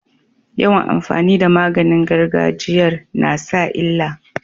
Yawan amfani da maganin gargajiyar nasa illa